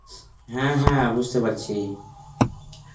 হ্যাঁ হ্যাঁ বুঝতে পারছি.